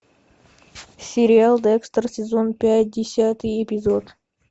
сериал декстер сезон пять десятый эпизод